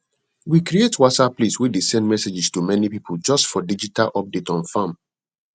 we create whatsapp list way dey send messages to many people just for digital update on farm